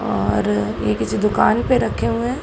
और ये किसी दुकान पर रखे हुए हैं।